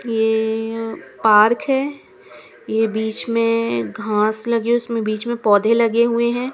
ये ए ए ए पार्क है ये बीच में घास लगी है उसमे बीच में पौधे लगे हुए है ।